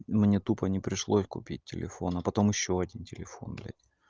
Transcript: мне тупо не пришлось купить телефон а потом ещё один телефон блять